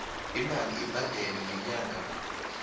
imali ebhadelwa ngenyanga